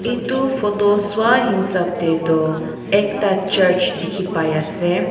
etu photo sa hisap te toh ekta church dikhi pai ase.